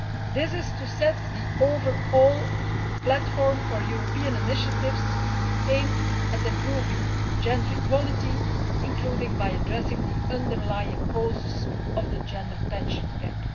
This will establish an overall platform for European initiatives aimed at improving gender equality, including by addressing the underlying causes of the gender pension gap.